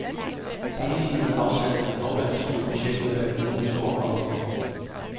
Sammenlignet med afsaltning af havvand skulle projektet være økonomisk overkommeligt.